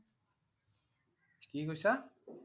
কি কৈছে?